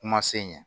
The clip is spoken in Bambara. Kuma se ɲɛ